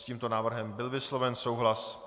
S tímto návrhem byl vysloven souhlas.